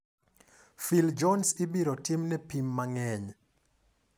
Phil Jones ibiro timne pim mang'eny.